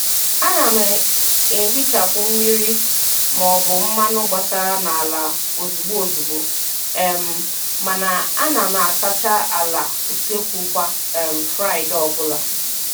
A na m e hichapụ mmiri ma ọ bụ mmanụ gbasara n'ala ozugbo ozugbo um mana a na m asacha ala useekwu kwa um Fraịdee ọbụla.